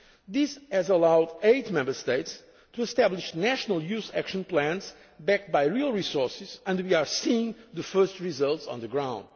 This has allowed eight Member States to establish national youth action plans backed by real resources and we are seeing the first results on the